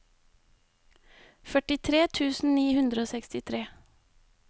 førtitre tusen ni hundre og sekstitre